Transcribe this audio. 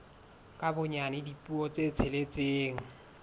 ka bonyane dipuo tse tsheletseng